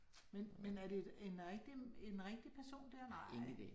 Men men er det et en rigtig en rigtig person, der nej?